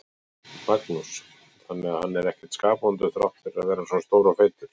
Magnús: Þannig að hann er ekkert skapvondur þrátt fyrir að vera svona stór og feitur?